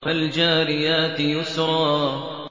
فَالْجَارِيَاتِ يُسْرًا